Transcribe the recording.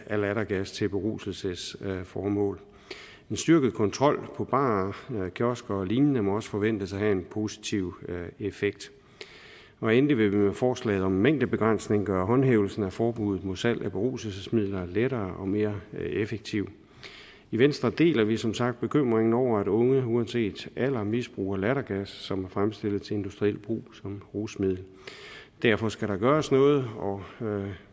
af lattergas til beruselsesformål en styrket kontrol i barer kiosker og lignende må også forventes at have en positiv effekt og endelig vil vi med forslaget om mængdebegrænsning gøre håndhævelsen af forbuddet mod salg af beruselsesmidler lettere og mere effektiv i venstre deler vi som sagt bekymringen over at unge uanset alder misbruger lattergas som er fremstillet til industriel brug som rusmiddel derfor skal der gøres noget og